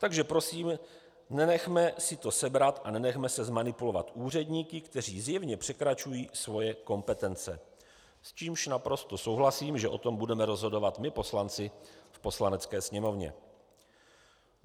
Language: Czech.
Takže prosím, nenechme si to sebrat a nenechme se zmanipulovat úředníky, kteří zjevně překračují své kompetence, s čímž naprosto souhlasím, že o tom budeme rozhodovat my poslanci v Poslanecké sněmovně.